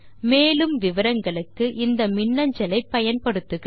மேற்கொண்டு விவரங்களுக்கு இந்த மின்னஞ்சலை பயன்படுத்துக